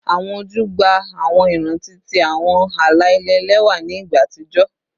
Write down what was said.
Awọn oju gba awọn iranti ti awọn ala-ilẹ ẹlẹwa ni igba atijọ